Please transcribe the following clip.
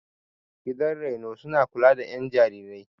Gidan raino suna kula da ƴan jarirai.